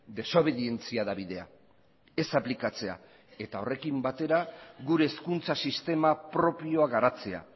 desobedientzia da bidea ez aplikatzea eta horrekin batera gure hezkuntza sistema propioa garatzea